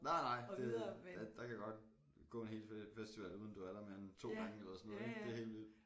Nej nej det ja der kan godt gå en helt festival uden du er der mere end 2 gange eller sådan noget ik det er helt vildt